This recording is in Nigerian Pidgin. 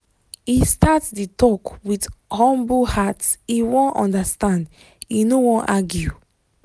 he start the talk with humble hearte wan understand e no wan argue